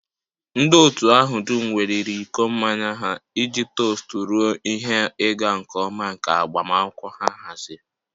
Ndị otu ahụ dum weliri iko mmanya ha iji tost ruo ihe ịga nke ọma nke agbamakwụkwọ ha haziri